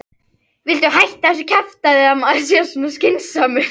VILTU HÆTTA ÞESSU KJAFTÆÐI AÐ MAÐUR SÉ SVO SKYNSAMUR